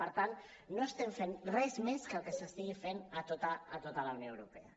per tant no estem fent res més que el que s’estigui fent a tota la unió europea